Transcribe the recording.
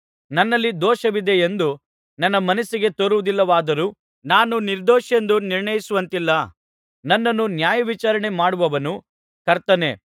ನನ್ನಲ್ಲಿ ದೋಷವಿದೆಯೆಂದು ನನ್ನ ಮನಸ್ಸಿಗೆ ತೋರುವುದಿಲ್ಲವಾದರೂ ನಾನು ನಿರ್ದೋಷಿಯೆಂದು ನಿರ್ಣಯಿಸುವಂತಿಲ್ಲ ನನ್ನನ್ನು ನ್ಯಾಯವಿಚಾರಣೆ ಮಾಡುವವನು ಕರ್ತನೇ